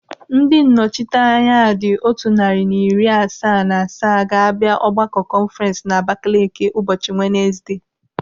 Ndị nnọchiteanya dị otu narị na iri asaa na asaa ga-abịa ọgbakọ kọnfurens n'Abakele ụbọchị Wenezde.